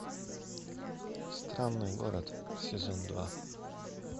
странный город сезон два